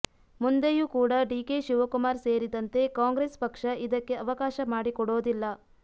ಮುಂದೆಯೂ ಕೂಡ ಡಿಕೆ ಶಿವಕುಮಾರ್ ಸೇರಿದಂತೆ ಕಾಂಗ್ರೆಸ್ ಪಕ್ಷ ಇದಕ್ಕೆ ಅವಕಾಶ ಮಾಡಿಕೊಡೋದಿಲ್ಲ